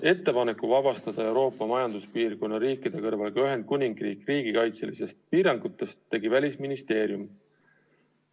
Ettepaneku vabastada Euroopa Majanduspiirkonna riikide kõrval ka Ühendkuningriik riigikaitselistest piirangutest tegi Välisministeerium.